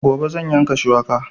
Gobe zan yanka shuwaka